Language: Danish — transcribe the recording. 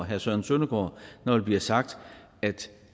herre søren søndergaard når der bliver sagt at